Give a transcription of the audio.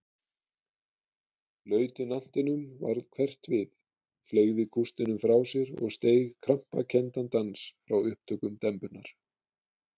Lautinantinum varð hverft við, fleygði kústinum frá sér og steig krampakenndan dans frá upptökum dembunnar.